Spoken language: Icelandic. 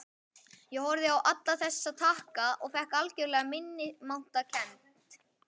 Ég horfði á alla þessa takka og fékk algjöra minnimáttarkennd.